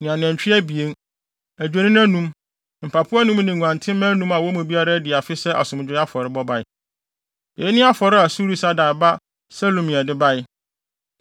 ne anantwi abien, adwennini anum, mpapo anum ne nguantenmma anum a wɔn mu biara adi afe sɛ asomdwoe afɔre bae. Eyi ne afɔre a Surisadai ba Selumiel de bae.